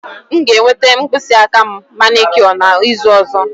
M ga-enweta mkpịsị aka m manicure n'izu ọzọ